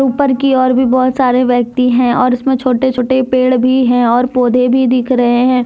ऊपर की ओर भी बहुत सारे व्यक्ति हैं और उसमें छोटे छोटे पेड़ भी हैं और पौधे भी दिख रहे हैं।